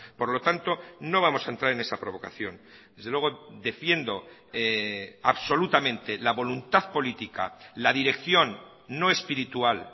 por lo tanto no vamos a entrar en esa provocación desde luego defiendo absolutamente la voluntad política la dirección no espiritual